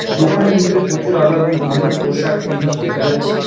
দোকানের ভিতরে প্রচুর আলো এবং বিভিন্ন পোশাক বিভাগ দেখা যাচ্ছে।